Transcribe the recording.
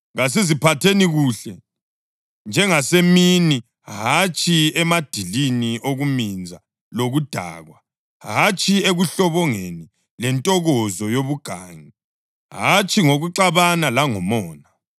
Kasiziphatheni kuhle, njengasemini, hatshi emadilini okuminza lokudakwa, hatshi ekuhlobongeni lentokozo yobugangi, hatshi ngokuxabana langomona.